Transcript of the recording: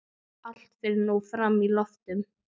Allt fer nú fram í loftinu.